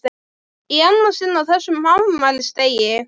Í annað sinn á þessum afmælisdegi!